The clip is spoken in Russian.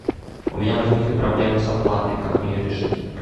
у меня возникли проблемы с оплатой как мне ее решить